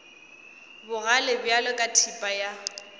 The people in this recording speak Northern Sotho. bogale bjalo ka thipa ya